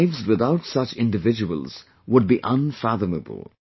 Our lives without such individuals would be unfathomable